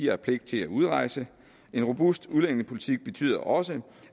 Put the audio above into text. har pligt til at udrejse en robust udlændingepolitik betyder også